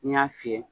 N y'a fiyɛ